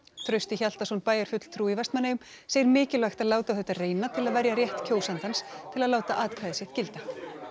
Trausti Hjaltason bæjarfulltrúi í Vestmanneyjum segir mikilvægt að láta á þetta reyna til að verja rétt kjósandans til að láta atkvæðið sitt gilda